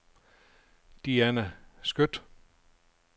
Diana Skøtt